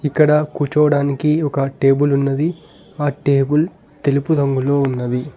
ఇక్కడ కూర్చోవడానికి ఒక టేబుల్ ఉన్నది ఆ టేబుల్ తెలుపు రంగులో ఉన్నది.